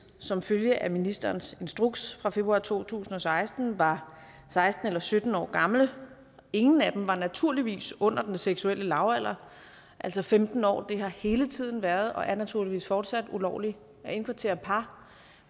som følge af ministerens instruks fra februar to tusind og seksten var seksten eller sytten år gamle ingen af dem var naturligvis under den seksuelle lavalder altså femten år det har hele tiden været og er naturligvis fortsat ulovligt at indkvartere par